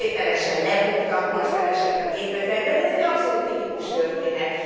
Most kivételesen lebuktak, porszem esett a gépezetbe, de ez egy abszolút tipikus történet.